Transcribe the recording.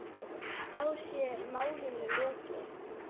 Og þá sé málinu lokið.